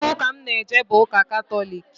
Afa ụka m n-eje bụ Ụka Katọlik.